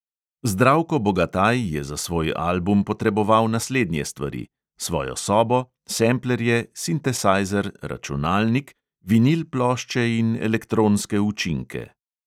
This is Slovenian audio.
Zdravko bogataj je za svoj album potreboval naslednje stvari: svojo sobo, semplerje, sintesajzer, računalnik, vinil plošče in elektronske učinke.